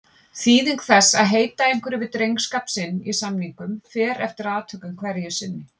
Þýðing þess að heita einhverju við drengskap sinn í samningum fer eftir atvikum hverju sinni.